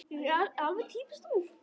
Alveg týpískt þú.